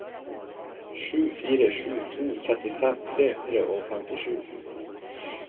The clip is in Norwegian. sju fire sju to trettifem tre hundre og femtisju